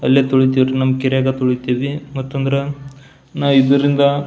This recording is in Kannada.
ಅಲ್ಲೇ ತೊಳಿತೀವಿ ರೀ ನಮ್ ಕೆರೆಯಾಗ ತೊಳಿತೀವಿ ಮತ್ತಂದ್ರ ನಾ ಇದ್ರಿಂದ.